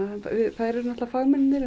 þær eru náttúrulega fagmennirnir